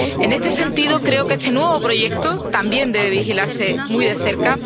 En este sentido creo que este nuevo proyecto también debe vigilarse muy de cerca.